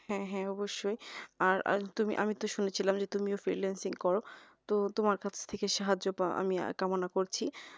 হ্যাঁ হ্যাঁ অবশ্যই আর আর তুমি আমি তো শুনেছিলাম যে তুমিও freelancing করো তো তোমার কাছথেকে সাহায্য পাওয়া আমি কামনা করছি